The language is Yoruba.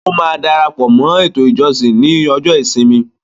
Ó máa darapọ̀ mọ́ “ ètò ìjọsìn” ní ọjọ́ ìsinmi.